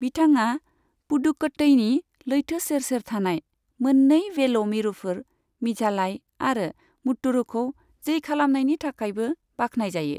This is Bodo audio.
बिथाङा पुदुकट्टईनि लैथो सेर सेर थानाय मोन्नै 'वेल' मिरुफोर, मिझालाई आरो मुत्तुरुखौ जै खालामनायनि थाखायबो बाख्नायजायो।